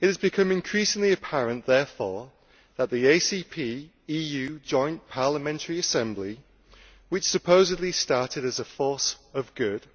It has become increasingly apparent that the ACP EU Joint Parliamentary Assembly, which supposedly started as a force of good,